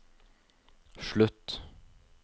slutt